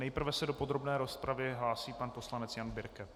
Nejprve se do podrobné rozpravy hlásí pan poslanec Jan Birke.